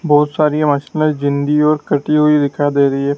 बहोत सारी जिंदी और कटी हुई दिखाई दे रही है।